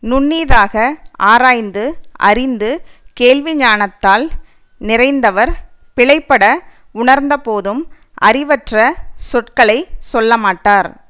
நுண்ணிதாக ஆராய்ந்து அறிந்து கேள்வி ஞானத்தால் நிறைந்தவர் பிழைபட உணர்ந்தபோதும் அறிவற்ற சொற்களை சொல்லமாட்டார்